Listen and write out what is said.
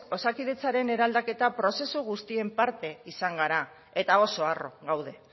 osakidetzaren eraldaketa prozesu guztien parte izan gara eta oso harro gaude